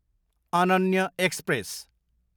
Ananya express